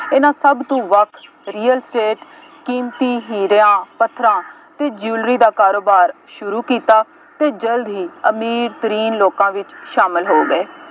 ਇਹਨਾ ਸਭ ਤੋਂ ਵੱਖ Real Estate ਕੀਮਤੀ ਹੀਰਿਆਂ ਪੱਥਰਾਂ ਅਤੇ Jewellary ਦਾ ਕਾਰੋਬਾਰ ਸ਼ੁਰੂ ਕੀਤਾ ਅਤੇ ਜਲਦ ਹੀ ਅਮੀਰ ਲੋਕਾਂ ਵਿੱਚ ਸ਼ਾਮਿਲ ਹੋ ਗਏ।